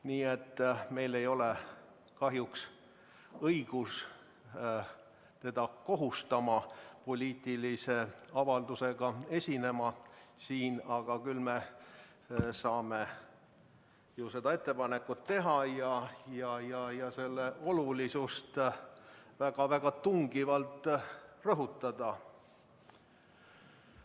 " Nii et meil ei ole kahjuks õigust teda kohustada siin poliitilise avaldusega esinema, aga me saame selle ettepaneku teha ja selle olulisust väga tungivalt rõhutada.